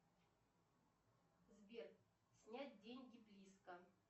сбер снять деньги близко